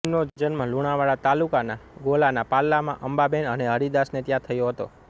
તેમનો જન્મ લુણાવાડા તાલુકાના ગોલાના પાલ્લામાં અંબાબેન અને હરિદાસને ત્યાં થયો હતો